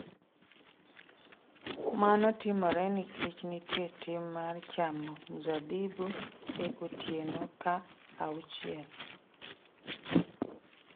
Mano timore nikech nitie tim mar chamo mzabibu e otieno ka auchiel.